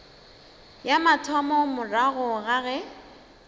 ya mathomo morago ga ge